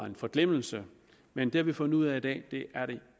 en forglemmelse men det har vi fundet ud af i dag det